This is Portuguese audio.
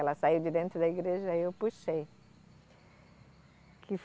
Ela saiu de dentro da igreja aí eu puxei. Que